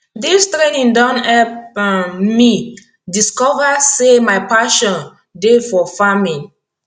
dis training don help um me discover say my pashon dey for farming